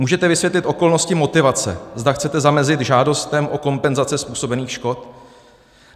Můžete vysvětlit okolnosti motivace, zda chcete zamezit žádostem o kompenzace způsobených škod?